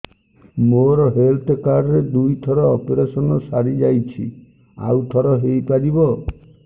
ମୋର health card ରେ ଦୁଇ ଥର ଅପେରସନ ସାରି ଯାଇଛି ଆଉ ଥର ହେଇପାରିବ